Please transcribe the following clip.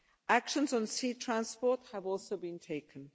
Actions on sea transport have also been taken.